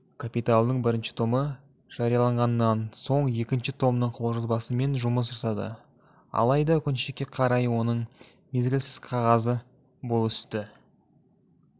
капиталдың бірінші томы жарияланғаннан соң екінші томның қолжазбасымен жұмыс жасады алайда өкінішке қарай оның мезгілсіз қазасы бұл істі